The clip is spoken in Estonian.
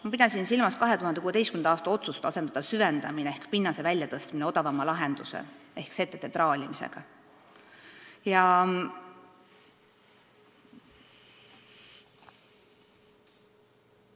" Ma pidasin silmas 2016. aasta otsust asendada süvendamine ehk pinnase väljatõstmine odavama lahenduse ehk setete traalimisega.